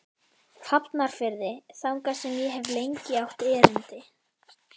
Hafnarfirði, þangað sem ég hef lengi átt erindi.